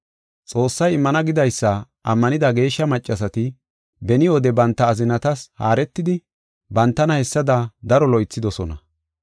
Xoossay immana gidaysa ammanida geeshsha maccasati beni wode banta azinatas haaretidi, bantana hessada daro loythidosona.